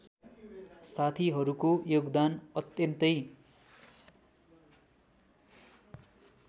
साथीहरूको योगदान अत्यन्तै